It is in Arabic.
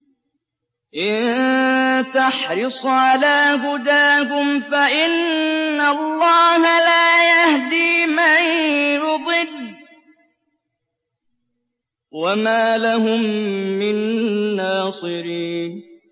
إِن تَحْرِصْ عَلَىٰ هُدَاهُمْ فَإِنَّ اللَّهَ لَا يَهْدِي مَن يُضِلُّ ۖ وَمَا لَهُم مِّن نَّاصِرِينَ